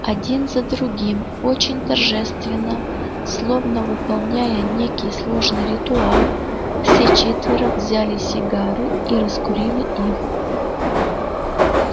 один за другим очень торжественно словно выполняя некий сложный ритуал все четверо взяли сигары и раскурили их